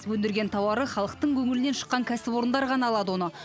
өндірген тауары халықтың көңілінен шыққан кәсіпорындар ғана алады оны